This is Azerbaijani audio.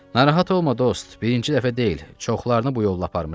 Narahat olma dost, birinci dəfə deyil, çoxlarını bu yolla aparmışam.